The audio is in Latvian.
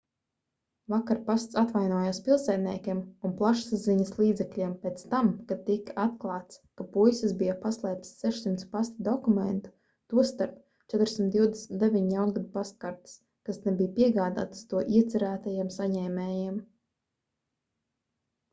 vakar pasts atvainojās pilsētniekiem un plašsaziņas līdzekļiem pēc tam kad tika atklāts ka puisis bija paslēpis 600 pasta dokumentu tostarp 429 jaungada pastkartes kas nebija piegādātas to iecerētajiem saņēmējiem